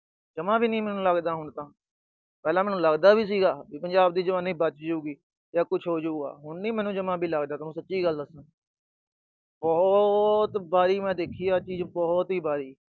ਜਮਾਂ ਵੀ ਨੀ ਲੱਗਦਾ ਮੈਨੂੰ ਹੁਣ ਤਾਂ। ਪਹਿਲਾਂ ਤਾਂ ਲੱਗਦਾ ਵੀ ਸੀਗਾ, ਪੰਜਾਬ ਦੀ ਜਵਾਨੀ ਬਚਜੂਗੀ ਜਾਂ ਕੁਛ ਹੋਜੂਗਾ, ਹੁਣ ਨੀ ਮੈਨੂੰ ਜਮਾਂ ਵੀ ਲੱਗਦਾ, ਤੁਹਾਨੂੰ ਸੱਚੀ ਗੱਲ ਦੱਸਾ। ਬਹੁਤ ਵਾਰੀ ਦੇਖੀ ਆ ਮੈਂ ਚੀਜ, ਬਹੁਤ ਈ ਵਾਰੀ।